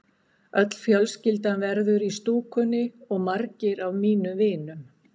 Öll fjölskyldan verður í stúkunni og margir af mínum vinum.